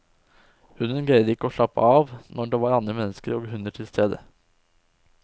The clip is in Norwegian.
Hunden greide ikke å slappe av når det var andre mennesker og hunder til stede.